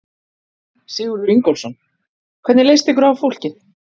Sigurður Ingólfsson: Hvernig leist ykkur á fólkið?